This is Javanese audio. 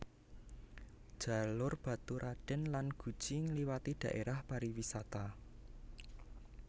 Jalur Baturraden lan Guci ngliwati dhaérah pariwisata